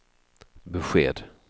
besked